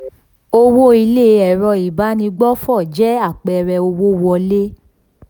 owó ilé ẹ̀rọ ìbánigbófò jẹ́ apẹẹrẹ owó wọlé.